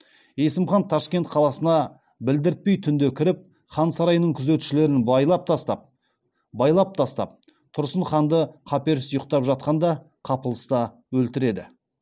есім хан ташкент қаласына білдіртпей түнде кіріп хан сарайының күзетшілерін байлап тастап тұрсын ханды қаперсіз ұйықтап жатқанда қапылыста өлтіреді